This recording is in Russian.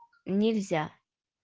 нельзя